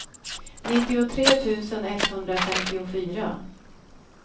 nittiotre tusen etthundrafemtiofyra